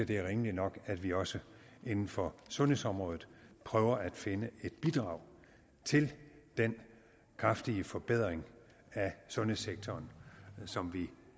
det er rimeligt nok at vi også inden for sundhedsområdet prøver at finde et bidrag til den kraftige forbedring af sundhedssektoren som vi